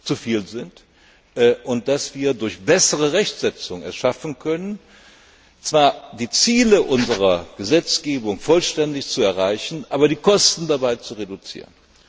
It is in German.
zu viel sind und dass wir es durch bessere Rechtssetzung schaffen können, zwar die Ziele unserer Gesetzgebung vollständig zu erreichen, aber die Kosten dabei zu reduzieren.